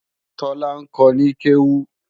Tọ́lá ń kọ ní kéwú